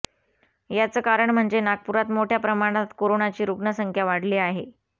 याचं कारण म्हणजे नागपुरात मोठ्या प्रमाणात कोरोनाची रुग्ण संख्या वाढली आहे